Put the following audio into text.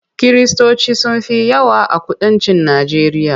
Kiristoci sun fi yawa a kudancin Najeriya.